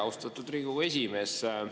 Austatud Riigikogu esimees!